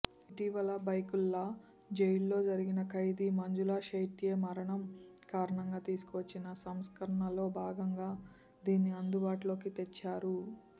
ఇటీవల బైకుల్లా జైల్లో జరిగిన ఖైదీ మంజులా షెత్యే మరణం కారణంగా తీసుకువచ్చిన సంస్కరణల్లో భాగంగా దీన్ని అందుబాటులోకి తెచ్చారు